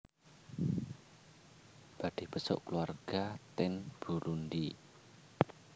Badhe besuk keluarga ten Burundi